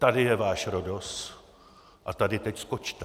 Tady je váš Rhodos a tady teď skočte!